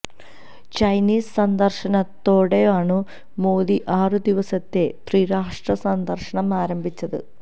Chinese സന്ദര്ശനത്തോടെയാണു മോദി ആറു ദിവസത്തെ ത്രിരാഷ്ട്ര സന്ദര്ശനം ആരംഭിച്ചത്